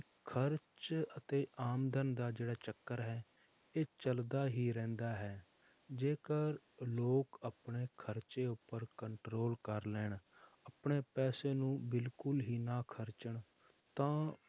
ਖ਼ਰਚ ਅਤੇ ਆਮਦਨ ਦਾ ਜਿਹੜਾ ਚੱਕਰ ਹੈ ਇਹ ਚੱਲਦਾ ਹੀ ਰਹਿੰਦਾ ਹੈ, ਜੇਕਰ ਲੋਕ ਆਪਣੇ ਖ਼ਰਚੇ ਉੱਪਰ control ਕਰ ਲੈਣ, ਆਪਣੇ ਪੈਸੇ ਨੂੰ ਬਿਲਕੁਲ ਹੀ ਨਾ ਖ਼ਰਚਣ ਤਾਂ